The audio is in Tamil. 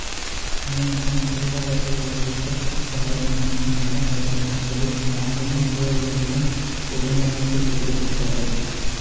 ஏனெனில் தொழிலாளர்கள் ஒரு உற்பத்திக் காரணி மட்டுமல்ல அவர்கள் தங்களைத் தாங்களும் ஒருவரையொருவரும் ஒழுங்கமைப்புச் செய்து கொள்கிறார்கள்